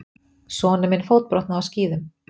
Sonur minn fótbrotnaði á skíðum.